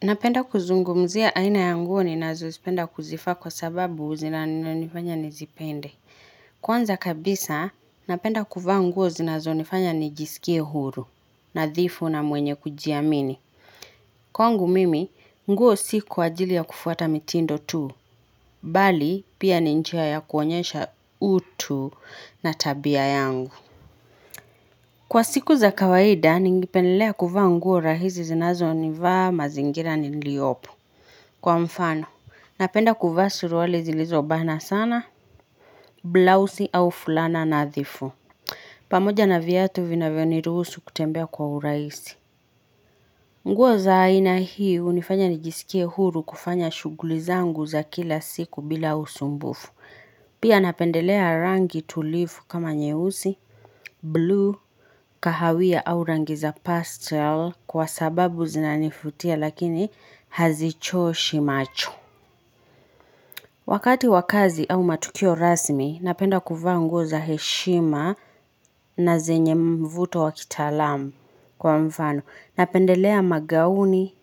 Napenda kuzungumzia aina ya nguo ninazozipenda kuzifaa kwa sababu zinanifanya nizipende. Kwanza kabisa, napenda kuvaa nguo zinazonifanya nijisikie huru, nathifu na mwenye kujiamini. Kwangu mimi, nguo si kwa ajili ya kufuata mitindo tu, bali pia ni njia ya kuonyesha utu na tabia yangu. Kwa siku za kawaida, ningependelea kuvaa nguo rahizi zinazo nivaa mazingira niliyopo. Kwa mfano, napenda kuvaa suruali zilizobana sana, blouse au fulana nadhifu. Pamoja na viatu vinavyo niruhusu kutembea kwa uraisi. Nguo za aina hii hunifanya nijisikie huru kufanya shuguli zangu za kila siku bila usumbufu. Pia napendelea rangi tulifu kama nyehusi, blue, kahawia au rangi za pastel kwa sababu zinanifutia lakini hazichoshi macho. Wakati wa kazi au matukio rasmi, napenda kuvaa nguo za heshima na zenye mvuto wa kitalamu kwa mfano. Napendelea magauni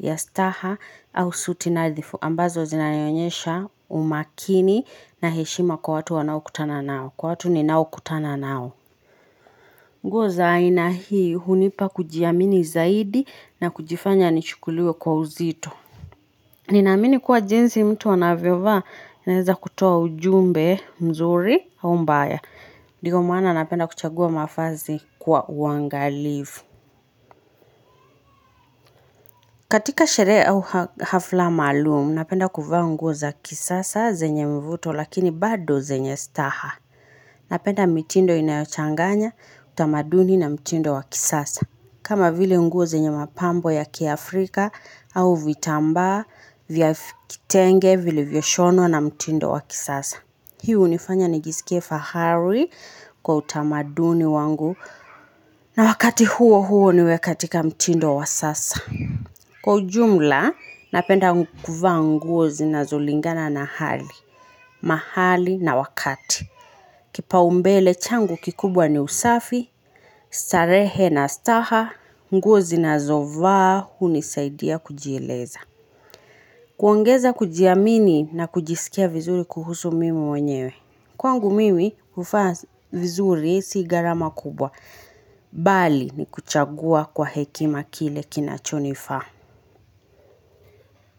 ya staha au suti nadhifu ambazo zinanionyesha umakini na heshima kwa watu wanao kutana nao, kwa watu ninao kutana nao. Nguo za aina hii hunipa kujiamini zaidi na kujifanya nichukuliwe kwa uzito. Ninaamini kuwa jinsi mtu anavyo vaa inaweza kutoa ujumbe mzuri au mbaya. Ndigo maana napenda kuchagua mafazi kwa uangalifu. Katika sherehe au hafla malumu napenda kuvaa nguo za kisasa zenye mvuto lakini bado zenye staha. Napenda mitindo inayochanganya utamaduni na mtindo wa kisasa. Kama vile nguo zenye mapambo ya Kiafrika au vitambaa, vya kitenge, vilivyo shonwa na mtindo wa kisasa. Hiu hunifanya nijisikie fahari kwa utamaduni wangu na wakati huo huo niwe katika mtindo wa sasa. Kwa ujumla, napenda kuvaa nguo zinazolingana na hali, mahali na wakati. Kipa umbele changu kikubwa ni usafi, starehe na staha, nguo zinazovaa, huni saidia kujieleza. Kuongeza kujiamini na kujisikia vizuri kuhusu mimi mwenyewe. Kwangu mimi kufaa vizuri si gharama kubwa. Bali ni kuchagua kwa hekima kile kinachonifaa.